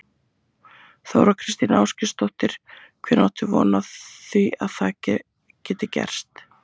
Þóra Kristín Ásgeirsdóttir: Hvenær áttu von á því að það geti gerst?